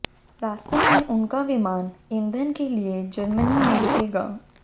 रास्ते में उनका विमान ईंधन के लिए जर्मनी में रूकेगा